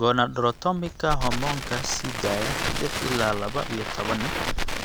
Gonadotropinka hormoonka sii daaya (GnRH) lix ilaa laba iyo toban